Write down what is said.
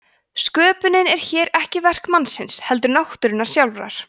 sköpunin er hér ekki verk mannsins heldur náttúrunnar sjálfrar